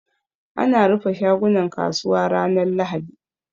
Ana rufe shagunan kasuwa ranar lahadi